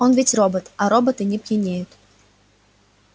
он ведь робот а роботы не пьянеют